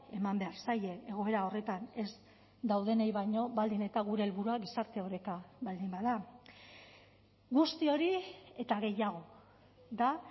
eman behar zaie egoera horretan ez daudenei baino baldin eta gure helburua gizarte oreka baldin bada guzti hori eta gehiago da